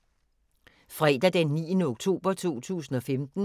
Fredag d. 9. oktober 2015